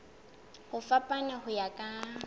ho fapana ho ya ka